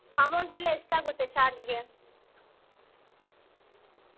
Amount ಎಲ್ಲಾ ಎಷ್ಟಾಗುತ್ತೆ charge ಗೆ? .